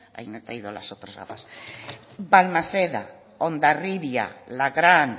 balmaseda hondarribia lagrán